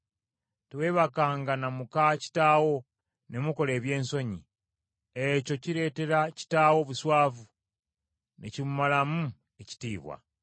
“ ‘Teweebakanga na muka kitaawo ne mukola ebyensonyi, ekyo kireetera kitaawo obuswavu ne kimumalamu ekitiibwa.